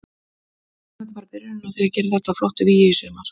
Þetta er vonandi bara byrjunin á því að gera þetta að flottu vígi í sumar.